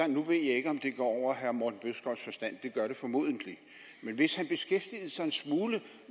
nu ved jeg ikke om det går over herre morten bødskovs forstand det gør det formodentlig men hvis han beskæftigede sig en smule